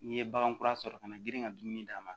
N'i ye bagan kura sɔrɔ ka na girin ka dumuni d'a ma